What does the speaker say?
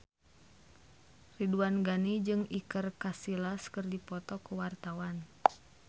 Ridwan Ghani jeung Iker Casillas keur dipoto ku wartawan